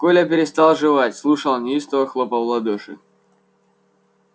коля переставал жевать слушал неистово хлопал в ладоши